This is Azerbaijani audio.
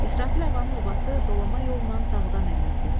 İsrafil ağanın obası dolama yolla dağdan enirdi.